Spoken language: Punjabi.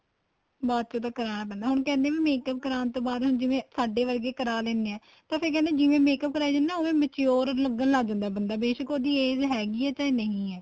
ਬਾਅਦ ਚੋ ਤਾਂ ਕਰਾਣਾ ਪੈਂਦਾ ਹੁਣ ਤਾਂ ਕਹਿੰਦੇ makeup ਕਰਾਣ ਤੋ ਬਾਅਦ ਹੁਣ ਜਿਵੇਂ ਸਾਡੇ ਵਰਗੇ ਕਰਾ ਲੈਂਦੇ ਏ ਤਾਂ ਫ਼ੇਰ ਕਹਿਣੇ ਏ ਜਿਵੇਂ makeup ਕਰਾਈ ਜਾਂਦੇ ਏ ਉਹ ਵੇ mature ਲੱਗਣ ਲੱਗ ਜਾਂਦਾ ਬੰਦਾ ਬੇਸ਼ਕ ਉਹਦੀ age ਹੈਗੀ ਏ ਚਾਹੇ ਨਹੀਂ ਹੈ